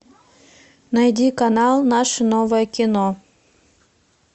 найди канал наше новое кино